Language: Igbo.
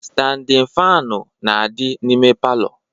Standin faanụ na-adị n'ime palọ